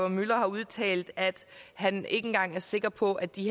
müller har udtalt at han ikke engang er sikker på at de